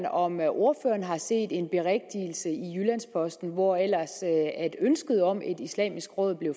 om ordføreren har set en berigtigelse i jyllands posten hvor ellers ønsket om et islamisk råd blev